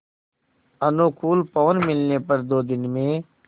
अनुकूल पवन मिलने पर दो दिन में